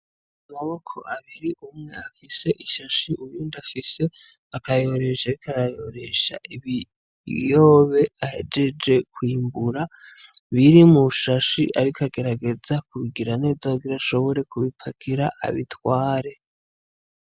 Amaboko abiri, umwe afise ishashe uyundi afise akayoresho ariko arayoresha ibiyoba ahejeje kwimbura biri mu shashe, ariko agerageza kubigira neza kugira ashobore kubipakira abitware.